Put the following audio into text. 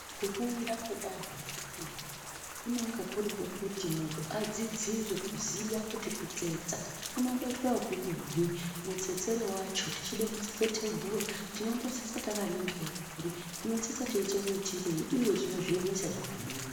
Kufunda kwedanho rechipiri kunonga kuri kwekuti munhu adzidzire kuziya kuti kutsetsa kunomboitwa ekudini, mutsetsere wacho tichide kutsetse tebhura tinombotsetsa takaningire kuri ,tinotsetsa teiite muitirenyi, uye tinozviemesa zvakadini.